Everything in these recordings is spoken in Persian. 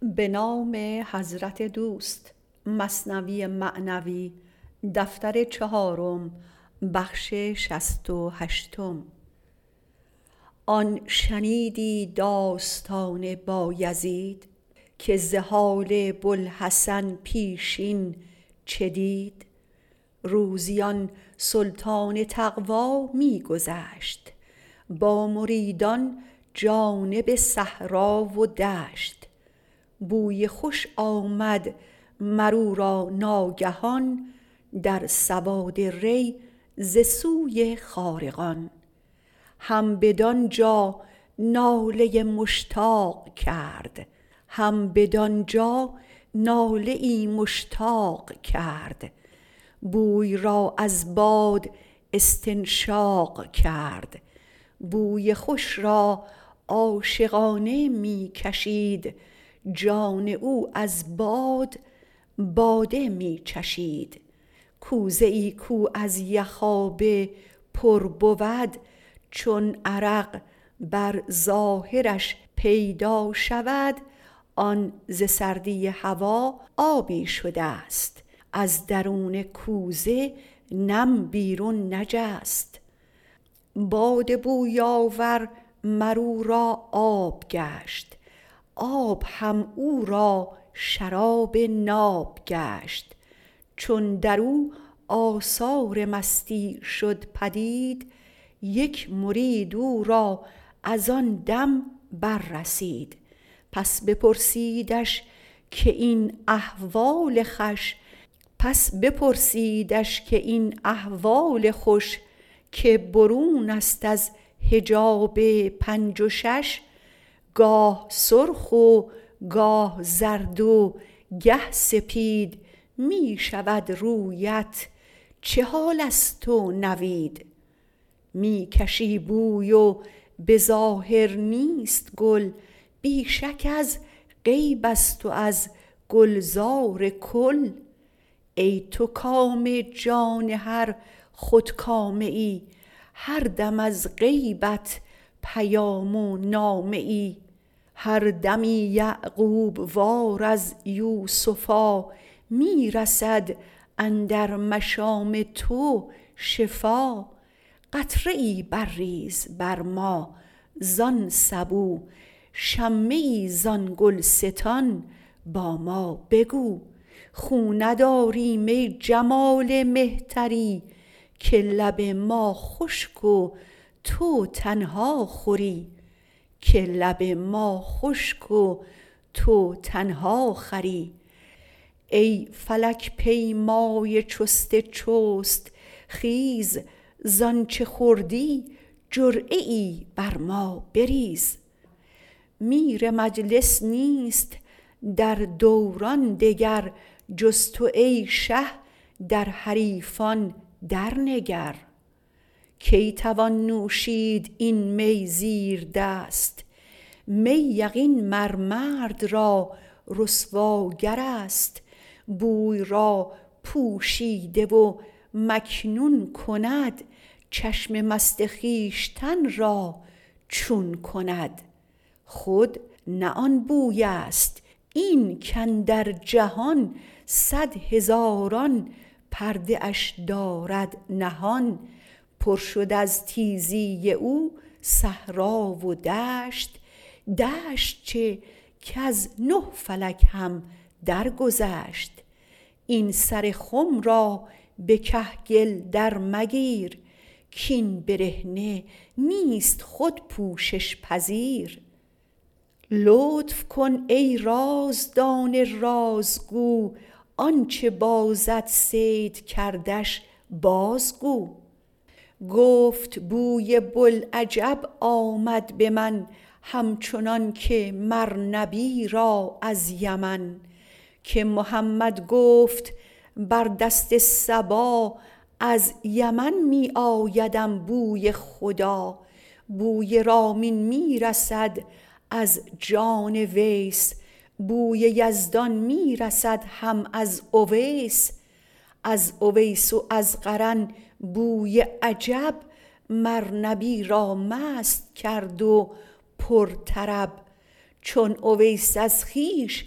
آن شنیدی داستان بایزید که ز حال بوالحسن پیشین چه دید روزی آن سلطان تقوی می گذشت با مریدان جانب صحرا و دشت بوی خوش آمد مر او را ناگهان در سواد ری ز سوی خارقان هم بدانجا ناله مشتاق کرد بوی را از باد استنشاق کرد بوی خوش را عاشقانه می کشید جان او از باد باده می چشید کوزه ای کو از یخابه پر بود چون عرق بر ظاهرش پیدا شود آن ز سردی هوا آبی شدست از درون کوزه نم بیرون نجست باد بوی آور مر او را آب گشت آب هم او را شراب ناب گشت چون درو آثار مستی شد پدید یک مرید او را از آن دم بر رسید پس بپرسیدش که این احوال خوش که برونست از حجاب پنج و شش گاه سرخ و گاه زرد و گه سپید می شود رویت چه حالست و نوید می کشی بوی و به ظاهر نیست گل بی شک از غیبست و از گلزار کل ای تو کام جان هر خودکامه ای هر دم از غیبت پیام و نامه ای هر دمی یعقوب وار از یوسفی می رسد اندر مشام تو شفا قطره ای بر ریز بر ما زان سبو شمه ای زان گلستان با ما بگو خو نداریم ای جمال مهتری که لب ما خشک و تو تنها خوری ای فلک پیمای چست چست خیز زانچ خوردی جرعه ای بر ما بریز میر مجلس نیست در دوران دگر جز تو ای شه در حریفان در نگر کی توان نوشید این می زیردست می یقین مر مرد را رسواگرست بوی را پوشیده و مکنون کند چشم مست خویشتن را چون کند خود نه آن بویست این که اندر جهان صد هزاران پرده اش دارد نهان پر شد از تیزی او صحرا و دشت دشت چه کز نه فلک هم در گذشت این سر خم را به کهگل در مگیر کین برهنه نیست خود پوشش پذیر لطف کن ای رازدان رازگو آنچ بازت صید کردش بازگو گفت بوی بوالعجب آمد به من هم چنانک مر نبی را از یمن که محمد گفت بر دست صبا از یمن می آیدم بوی خدا بوی رامین می رسد از جان ویس بوی یزدان می رسد هم از اویس از اویس و از قرن بوی عجب مر نبی را مست کرد و پر طرب چون اویس از خویش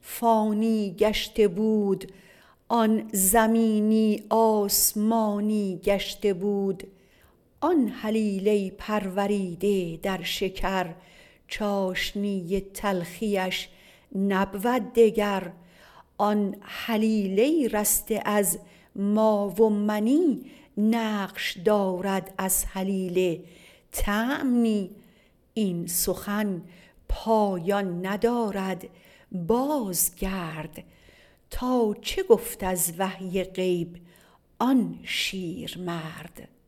فانی گشته بود آن زمینی آسمانی گشته بود آن هلیله پروریده در شکر چاشنی تلخیش نبود دگر آن هلیله رسته از ما و منی نقش دارد از هلیله طعم نی این سخن پایان ندارد باز گرد تا چه گفت از وحی غیب آن شیرمرد